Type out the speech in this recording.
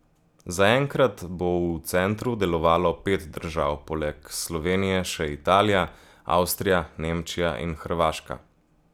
Zaenkrat bo v centru delovalo pet držav, poleg Slovenije še Italija, Avstrija, Nemčija in Hrvaška.